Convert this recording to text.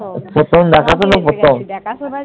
প্রথম দেখাশোনা, প্রথম